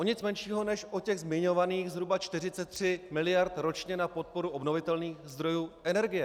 O nic menšího než o těch zmiňovaných zhruba 43 mld. ročně na podporu obnovitelných zdrojů energie!